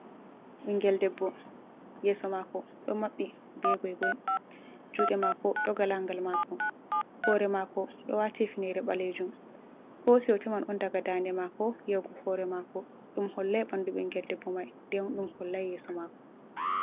Ɓingel debbo, yeso maako, ɗo maɓɓi be goi-goi. Juuɗe maako ɗo galangal maako. Hoore maako ɗo waati hifnere ɓaleejum. O hoosi hoto man on daga dande maako, yawgu hoore maako. Ɗum hollai ɓandu ɓingel debbo mai, nden bo hollai yeeso maako.